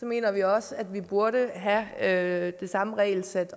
mener vi også at man burde have det samme regelsæt